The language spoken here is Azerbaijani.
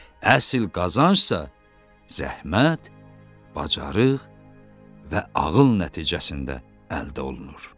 Əsil qazancsa zəhmət, bacarıq və ağıl nəticəsində əldə olunur.